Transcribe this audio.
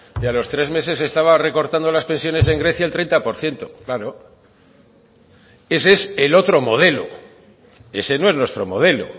y a los tres meses estaba recortando las pensiones en grecia el treinta por ciento claro ese es el otro modelo ese no es nuestro modelo